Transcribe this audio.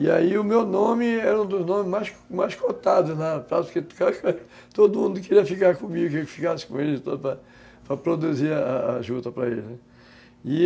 E aí o meu nome era um dos nomes mais mais cotados na praça, porque todo mundo queria ficar comigo, queria que ficasse com ele, para produzir a a junta para ele.